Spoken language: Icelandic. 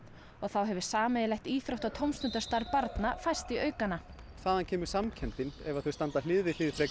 og þá hefur sameiginlegt íþrótta og tómstundastarf barna færst í aukana þaðan kemur samkenndin ef þau standa hlið við hlið